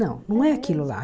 Não, não é aquilo lá.